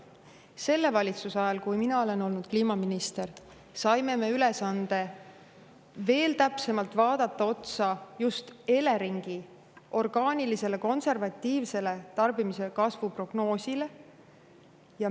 Selle valitsuse ajal, kui mina olen olnud kliimaminister, saime me ülesande veel täpsemalt otsa vaadata Eleringi orgaanilisele, konservatiivsele tarbimise kasvu prognoosile.